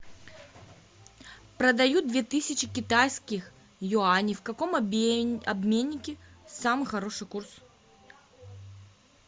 продаю две тысячи китайских юаней в каком обменнике самый хороший курс